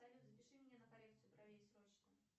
салют запиши меня на коррекцию бровей срочно